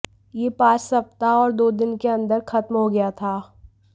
यह पांच सप्ताह और दो दिन के अंदर खत्म हो गया था